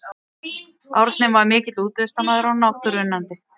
Árni var mikill útivistarmaður og náttúruunnandi.